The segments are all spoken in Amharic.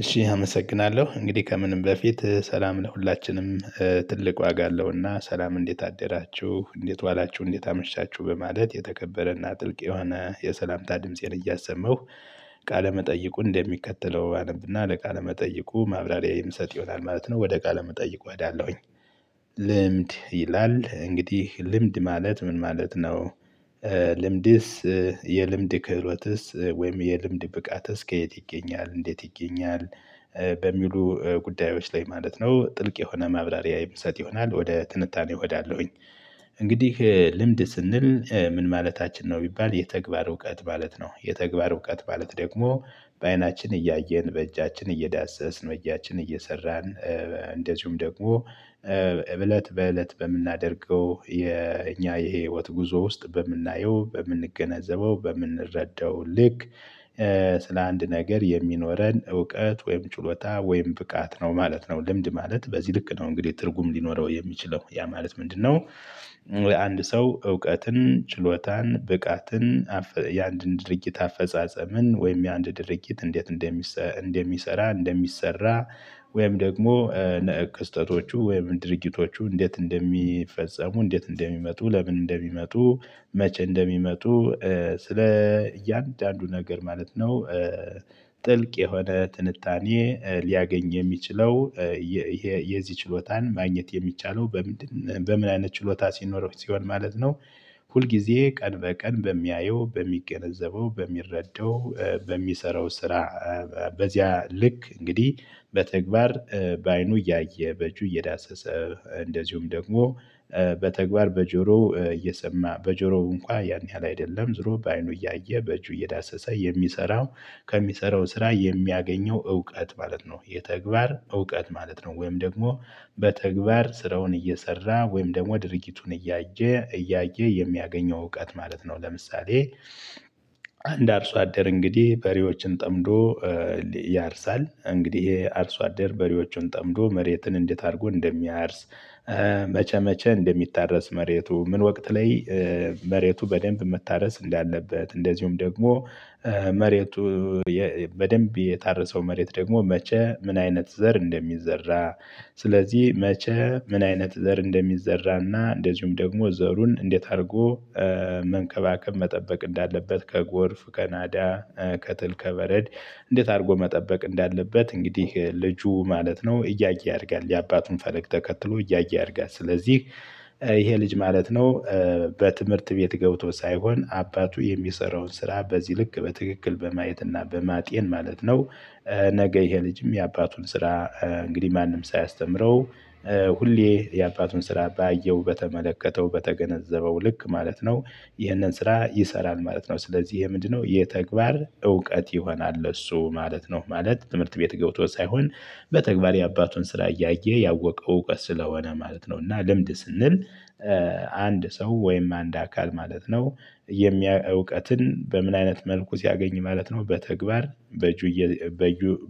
እሺ አመሰግናለሁ እንግዲህ ከምንም በፊት ሰላም ለሁላችንም። ትልቅ ዋጋ አለውና ሰላም እንዴት አደራችሁ እንዴት ዋላችሁ እንዴት አመሻችሁ በማለት የተከበረና ጥልቅ የሆነ የሰላምታ ድምፄን እያሰመሁ። ቃለ መጠይቁ እንደሚከተለው አነብና ለቃለ መጠይቁ ማብራሪያ ይምሰጥ ይሆናል ማለት ነው ወደ ቃለ መጠይቁ እሄዳለሁኝ። ልምድ ይላል እንግዲህ ልምድ ማለት ምን ማለት ነው? ልምድስ የልምድ ክህሎትስ ወይም የልምድ ብቃትስ ከየት ይገኛል እንዴት ይገኛል? በሚሉ ጉዳዮች ላይ ማለት ነው ጥልቅ የሆነ ማብራሪያ የምሰጥ ይሆናል ወደ ትንታኔ እሄዳለሁኝ። እንግዲህ ልምድ ስንል ምን ማለታችን ነው ቢባል የተግባር እውቀት ማለት ነው። የተግባር እውቀት ማለት ደግሞ በአይናችን እያየን በእጃችን እየዳሰስን በእጃችን እየሰራን እንደዚሁም ደግሞ እለት በእለት በምናደርገው የኛ የህይወት ጉዞ ውስጥ በምናየው በምንገነዘበው በምንረዳው ልክ ስለ አንድ ነገር የሚኖረን እውቀት ወይም ችሎታ ወይም ብቃት ነው ማለት ነው። ልምድ ማለት በዚህ ልክ ነው እንግዲህ ትርጉም ሊኖረው የሚችለው ያ ማለት ምንድነው? የአንድ ሰው እውቀትን ችሎታን ብቃትን የአንድ ድርጊት አፈጻጸምን ወይም የአንድ ድርጊት እንዴት እንደሚሰራ እንደሚሰራ ወይም ደግሞ ክስተቶቹ ወይም ድርጊቶቹ እንዴት እንደሚፈጸሙ እንዴት እንደሚመጡ ለምን እንደሚመጡ መቼ እንደሚመጡ ስለ እያንዳንዱ ነገር ማለት ነው። ጥልቅ የሆነ ትንታኔ ሊያገኝ የሚችለው የዚህ ችሎታን ማግኘት የሚቻለው በምን አይነት ችሎታ ሲኖረው ሲሆን ማለት ነው። ሁልጊዜ ቀን በቀን በሚያየው በሚገነዘበው በሚረዳው በሚሰራው ስራ በዚያ ልክ እንግዲህ በተግባር በአይኑ እያየ በጁ እየዳሰሰ እንደዚሁም ደግሞ በተግባር በጆሮ እየሰማ በጆሮው እንኳን ያን ያህል አይደለም ዞሮ በአይኑ እያየ በእጁ እየዳሰሰ የሚሰራው ከሚሰራው ስራ የሚያገኘው እውቀት ማለት ነው። የተግባር እውቀት ማለት ነው። ወይም ደግሞ በተግባር ስራውን እየሰራ ወይም ደግሞ ድርጊቱን እያየ እያየ የሚያገኘው እውቀት ማለት ነው። ለምሳሌ አንድ አርሶ አደር እንግዲህ በሬዎችን ጠምዶ ያርሳል እንግዲህ ይሄ አርሶ አደር በሬዎቹን ጠምዶ መሬትን እንዴት አድርጎ እንደሚያርስ? መቼ መቼ እንደሚታረስ መሬቱ ምን ወቅት ላይ መሬቱ በደንብ መታረስ እንዳለበት እንደዚሁም ደግሞ መሬቱ በደንብ የታረሰው መሬት ደግሞ መቼ ምን አይነት ዘር እንደሚዘራ። ስለዚህ መቼ ምን አይነት ዘር እንደሚዘራና እንደዚሁም ደግሞ ዘሩን እንዴት አድርጎ መንከባከብ መጠበቅ እንዳለበት ከጎርፍ ከናዳ ከትል ከበረድ እንዴት አድርጎ መጠበቅ እንዳለበት። እንግዲህ ልጁ ማለት ነው እያየ ያድጋል የአባቱን ፈለግ ተከትሎ እያየ ያደርጋል ስለዚህ ይሄ ልጅ ማለት ነው። በትምህርት ቤት ገብቶ ሳይሆን አባቱ የሚሰራውን ስራ በዚህ ልክ በትክክል በማየትና በማጤን ማለት ነው። ነገ ይሄ ልጅም የአባቱን ስራ እንግዲህ ማንም ሳያስተምረው ሁሌ የአባቱን ስራ ባየው በተመለከተው በተገነዘበው ልክ ማለት ነው ይህንን ስራ ይሰራል ማለት ነው። ስለዚህ ይሄ ምንድነው የተግባር እውቀት ይሆናል። እሱ ማለት ነው ማለት ትምህርት ቤት ገብቶ ሳይሆን በተግባር የአባቱን ስራ እያየ ያወቀ እውቀት ስለሆነ ማለት ነው። እና ልምድ ስንል አንድ ሰው ወይም አንድ አካል ማለት ነው። ዕውቀትን በምን አይነት መልኩ ሲያገኝ ማለት ነው በተግባር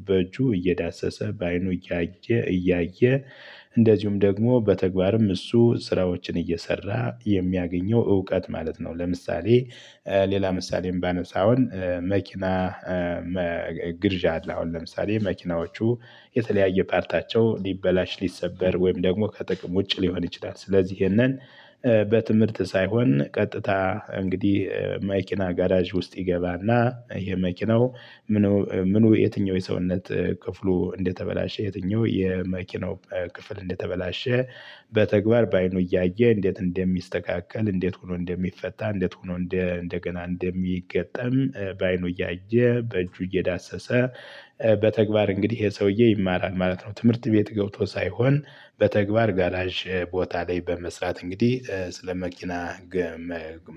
በእጁ እየዳሰሰ በአይኑ እያየ እያየ እንደዚሁም ደግሞ በተግባርም እሱ ስራዎችን እየሰራ የሚያገኘው እውቀት ማለት ነው። ለምሳሌ ሌላ ምሳሌም ባነሳውን መኪና ጋራዣ አለ አሁን ለምሳሌ መኪናዎቹ የተለያየ ፓርታቸው ሊበላሽ ሊሰበር ወይም ደግሞ ከጥቅም ውጭ ሊሆን ይችላል። ስለዚህ ይሄንን በትምህርት ሳይሆን ቀጥታ እንግዲህ መኪና ጋራዥ ውስጥ ይገባና የመኪናው ምኑ ምኑ የትኛው የሰውነት ክፍሉ እንደተበላሸ የትኛው የመኪናው ክፍል እንደተበላሸ። በተግባር በአይኑ እያየ እንዴት እንደሚስተካከል እንዴት ሆኖ እንደሚፈታ እንዴት ሆኖ እንደገና እንደሚገጠም በአይኑ እያየ በእጁ እየዳሰሰ። በተግባር እንግዲህ ይሄ ሰውዬ ይማራል ማለት ነው። ትምህርት ቤት ገብቶ ሳይሆን በተግባር ጋራዥ ቦታ ላይ በመስራት እንግዲህ ስለ መኪና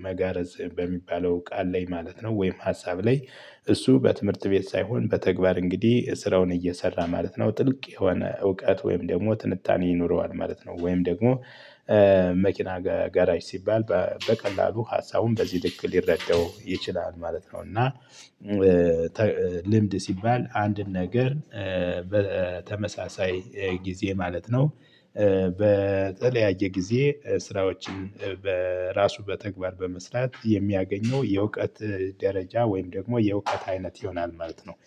መጋረዝ በሚባለው ቃል ላይ ማለት ነው። ወይም ሀሳብ ላይ እሱ በትምህርት ቤት ሳይሆን በተግባር እንግዲህ ስራውን እየሰራ ማለት ነው። ጥልቅ የሆነ እውቀት ወይም ደግሞ ትንታኔ ይኖረዋል ማለት ነው። ወይም ደግሞ መኪና ጋራጅ ሲባል በቀላሉ ሀሳቡን በዚህ ልክ ሊረዳው ይችላል ማለት ነው። እና ልምድ ሲባል አንድን ነገር በተመሳሳይ ጊዜ ማለት ነው። በተለያየ ጊዜ ስራዎችን በራሱ በተግባር በመስራት የሚያገኘው የእውቀት ደረጃ ወይም ደግሞ የእውቀት አይነት ይሆናል ማለት ነው።